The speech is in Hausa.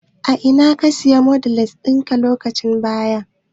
A ina ka Siya noodles ɗinka lokacin baya.